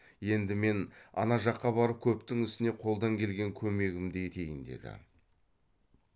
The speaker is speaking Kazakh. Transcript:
енді мен ана жаққа барып көптің ісіне қолдан келген көмегімді етейін деді